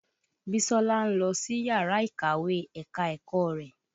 Bísọ́lá ń lọ síyàrá ìkàwé ẹ̀ka-ẹ̀kọ́ rẹ̀.